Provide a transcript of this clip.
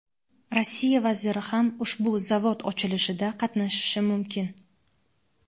Rossiya vaziri ham ushbu zavod ochilishida qatnashishi mumkin.